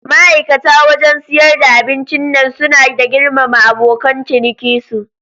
Ma'aikata wajan siyar da abincin nan suna da girmama abokan ciniki su